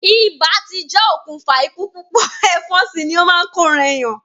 Ibà ti jẹ́ okùnfà ikú púpọ̀, ẹ̀fọn sì ni ó máa n ko ran èèyàn.